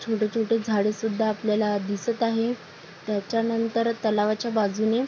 छोटे छोटे झाडे सुद्धा आपल्याला दिसत आहे त्याच्या नंतर तलावाच्या बाजूने --